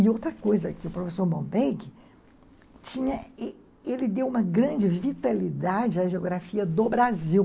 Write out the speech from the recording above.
E outra coisa, que o professor Bombay, ele deu uma grande vitalidade à geografia do Brasil.